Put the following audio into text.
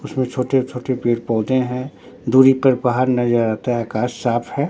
उसमें छोटे-छोटे पेड़-पौधे हैं दूरी पर पहार नजर आता है अकाश साफ है।